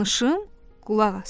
Danışım, qulaq as.